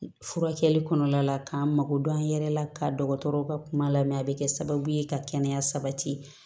Furakɛli kɔnɔna la k'an mako don an yɛrɛ la ka dɔgɔtɔrɔw ka kuma lamɛn a bɛ kɛ sababu ye ka kɛnɛya sabati